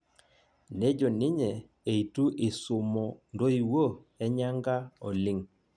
Nejo ninyye eitu isumo ntoiwuo enyanka oleng'